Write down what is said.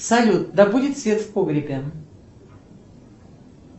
салют да будет свет в погребе